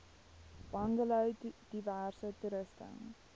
bungalows diverse toerusting